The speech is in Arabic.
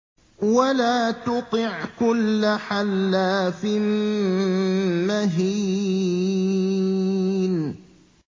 وَلَا تُطِعْ كُلَّ حَلَّافٍ مَّهِينٍ